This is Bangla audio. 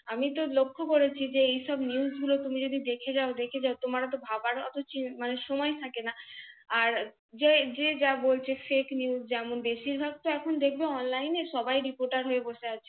আমিতো লক্ষ করেছি যে এই সব NEWS গুলো তুমি যদি দেখে যাও দেখে যাও তোমার অতো ভাবার উম সময় থাকে না, আর যে যা বলছে FAKENEWS যেমন বেশির ভাগ তো এখন দেখবে ONLINE সবাই REPOTER হয়ে বসে থাকছে।